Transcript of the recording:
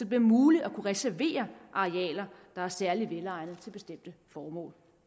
bliver muligt at kunne reservere arealer der er særlig velegnede til bestemte formål